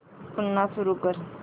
पुन्हा सुरू कर